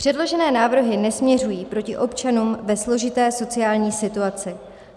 Předložené návrhy nesměřují proti občanům ve složité sociální situaci.